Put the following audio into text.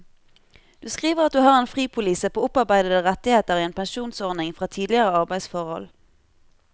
Du skriver at du har en fripolise på opparbeidede rettigheter i en pensjonsordning fra tidligere arbeidsforhold.